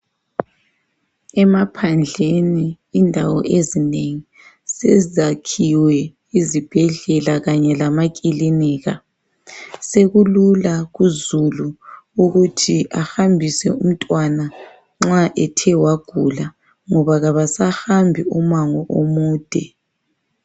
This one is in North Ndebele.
Emaphandleni, indawo ezinengi sezakhiwe izibhedlela kanye lamakilinika. Sekulula kuzulu ukuthi ahambise umntwana nxa ethe wagula ngoba kabasahambi umango omude.